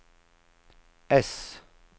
äss